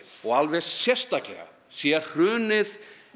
og alveg sérstaklega sé hrunið